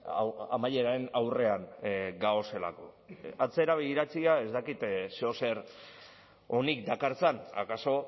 hau amaieraren aurrean gaudelako atzera begiratzea ez dakit zeozer onik dakartzan akaso